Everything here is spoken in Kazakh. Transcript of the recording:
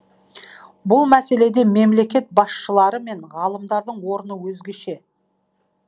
бұл мәселеде мемлекет басшылары мен ғалымдардың орны өзгеше